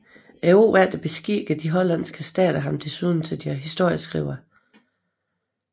Året efter beskikkede de hollandske stater ham desuden til deres historieskriver